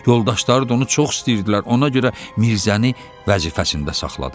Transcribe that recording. Yoldaşları da onu çox istəyirdilər, ona görə Mirzəni vəzifəsində saxladılar.